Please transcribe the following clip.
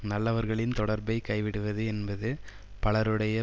நல்லவர்களின் தொடர்பைக் கைவிடுவது என்பது பலருடைய